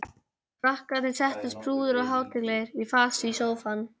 Krakkarnir settust prúðir og hátíðlegir í fasi í sófann.